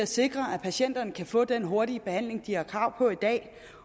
sikre at patienterne kan få den hurtige behandling de har krav på i dag